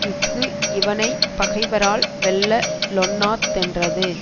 இஃது இவனை பகைவரால் வெல்ல லொண்ணா தென்றது